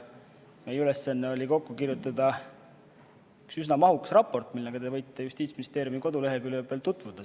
Meie ülesanne oli kokku kirjutada üks üsna mahukas raport, millega te võite Justiitsministeeriumi koduleheküljel tutvuda.